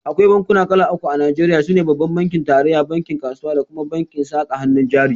Akwai bankuna kala uku a Najeriya. sune Babban bankin tarayya, bankin kasuwa da kuma bankin saka hannun jari.